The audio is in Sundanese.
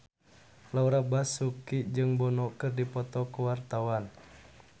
Laura Basuki jeung Bono keur dipoto ku wartawan